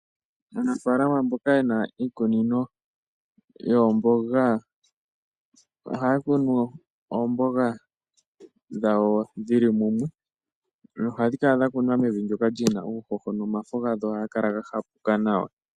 Aanafalama mboka yena iikunino yoomboga ohaya kunu oomboga dhawo dhili mumwe nohadhi kunwa mevi ndyoka lyina uuhoho omafo gadho ohaga kala ga hapuka nawa.